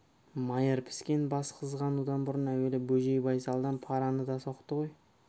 майыр піскен бас қызғанудан бұрын әуелі бөжей байсалдан параны да соқты ғой